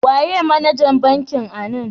Waye managan bankin anan?